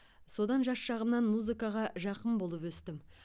содан жас шағымнан музыкаға жақын болып өстім